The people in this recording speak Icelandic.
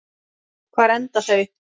Hvar enda þau?